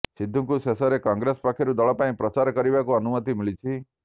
ସିଦ୍ଧୁଙ୍କୁ ଶେଷରେ କଂଗ୍ରେସ ପକ୍ଷରୁ ଦଳ ପାଇଁ ପ୍ରଚାର କରିବାକୁ ଅନୁମତି ମିଳିଛି